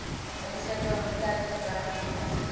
menslike immuniteitsgebrekvirus